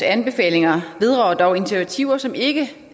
anbefalinger vedrører dog initiativer som ikke